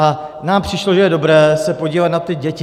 A nám přišlo, že je dobré se podívat na ty děti.